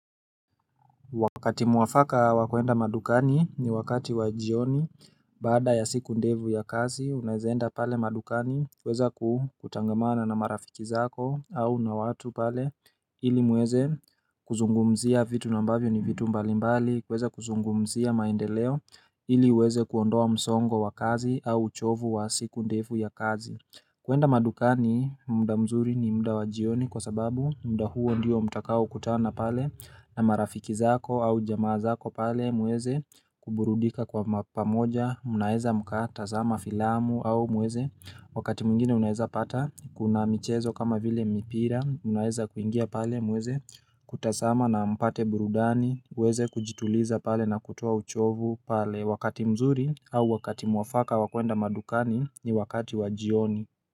Wakati muafaka wa kwenda madukani ni wakati wa jioni baada ya siku ndefu ya kazi. Unaweza kwenda pale madukani kuweza kutangamana na marafiki zako au na watu pale ili muweze kuzungumzia vitu na ambavyo ni vitu mbalimbali kuweza kuzungumzia maendeleo ili uweze kuondoa msongo wa kazi au uchovu wa siku ndefu ya kazi kwenda madukani muda mzuri ni muda wa jioni kwa sababu muda huo ndio mtakao kutana pale na marafiki zako au jamaa zako pale muweze kuburudika kwa pamoja mnaeza mkatazama filamu au muweze wakati mwingine unaeza pata kuna michezo kama vile mipira mnaeza kuingia pale muweze kutazama na mpate burudani uweze kujituliza pale na kutoa uchovu pale Wakati mzuri au wakati mwafaka wa kwenda madukani ni wakati wajioni.